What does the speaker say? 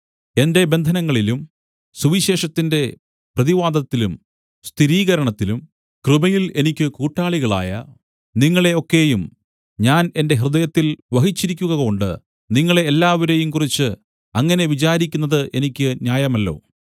എന്റെ ബന്ധനങ്ങളിലും സുവിശേഷത്തിന്റെ പ്രതിവാദത്തിലും സ്ഥിരീകരണത്തിലും കൃപയിൽ എനിക്ക് കൂട്ടാളികളായ നിങ്ങളെ ഒക്കെയും ഞാൻ എന്റെ ഹൃദയത്തിൽ വഹിച്ചിരിക്കുകകൊണ്ട് നിങ്ങളെ എല്ലാവരെയും കുറിച്ച് അങ്ങനെ വിചാരിക്കുന്നത് എനിക്ക് ന്യായമല്ലോ